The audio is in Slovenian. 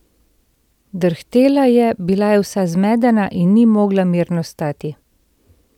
Drhtela je, bila je vsa zmedena in ni mogla mirno stati.